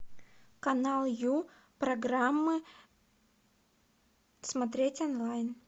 канал ю программы смотреть онлайн